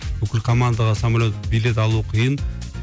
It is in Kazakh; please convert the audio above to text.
бүкіл командаға самолет билет алу қиын